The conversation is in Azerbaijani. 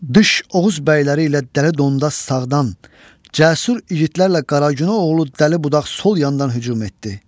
Dış oğuz bəyləri ilə dəli dondaz sağdan, cəsur igidlərlə Qaragünə oğlu dəli budaq sol yandan hücum etdi.